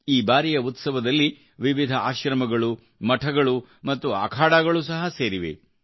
ಈ ಬಾರಿಯ ಉತ್ಸವದಲ್ಲಿ ವಿವಿಧ ಆಶ್ರಮಗಳು ಮಠಗಳು ಮತ್ತು ಅಖಾಡಗಳು ಸಹ ಸೇರಿವೆ